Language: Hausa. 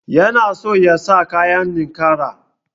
Yana so yasa kayan ninƙaya.